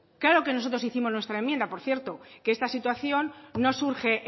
claro que nosotros hicimos nuestra enmienda por cierto que esta situación no surge